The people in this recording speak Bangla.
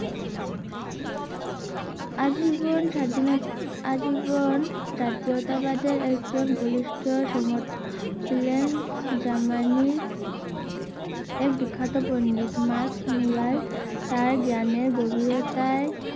আজীবন স্বাধীনত আজীবন জাতীয়তাবাদের একজন ছিলেন যা মানে এক বিখ্যাত পন্ডিত মার্কস মূলায় তার জ্ঞানের গভীরতায়